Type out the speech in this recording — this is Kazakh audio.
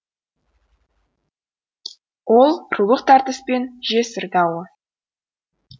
ол рулық тартыс пен жесір дауы